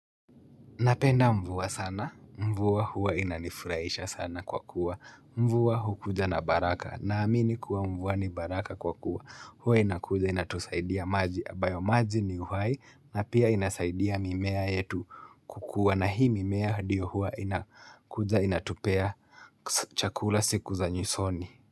Napenda mvua sana. Mvua huwa inanifurahisha sana kwa kuwa. Mvua hukuja na baraka. Naamini kuwa mvua ni baraka kwa kuwa. Huwa inakuja inatusaidia maji ambayo maji ni uhai na pia inasaidia mimea yetu kukuwa. Na hii mimea ndiyo huwa inakuja inatupea chakula siku za nyusoni.